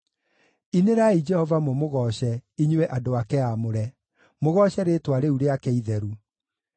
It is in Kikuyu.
Inĩrai Jehova mũmũgooce, inyuĩ andũ ake aamũre; mũgooce rĩĩtwa rĩu rĩake itheru,